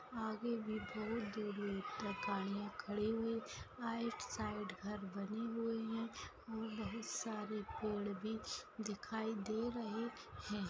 आगे भी दूरदूर तक गड़िया खड़ी हुए है। राइट साइड घर बनी हुए है और बहुत सारे पेड़ भी दिखाई दे रहे है।